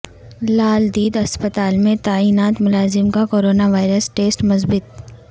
لال دید اسپتال میں تعینات ملازم کا کورنا وائرس ٹیسٹ مثبت